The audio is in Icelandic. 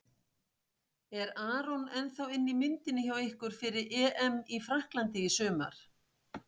Er Aron ennþá inn í myndinni hjá ykkur fyrir EM í Frakklandi í sumar?